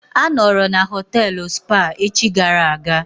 A nọọrọ na họtelụ Spa echi gara aga.